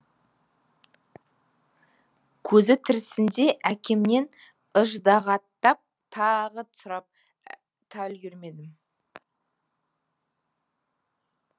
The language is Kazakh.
көзі тірісінде әкемнен ыждағаттап тағы сұрап та үлгермедім